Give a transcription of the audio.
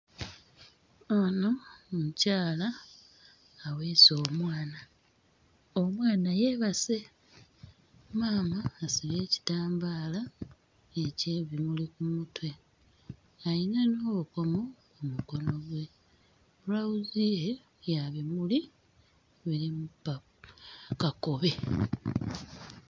Ono mukyala aweese omwana, omwana yeebase. Maama asibye ekitambaala, eky'ebimuli ku mutwe. Alina n'obukomo ku mukono gwe. Bbulawuzi ye ya bimuli mulimu ppa... Kakobe.